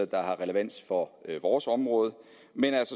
der har relevans for vores område